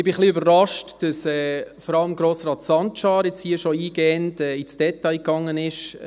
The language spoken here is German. Ich bin etwas überrascht, dass vor allem Grossrat Sancar jetzt hier schon inhaltlich eingehend ins Detail gegangen ist.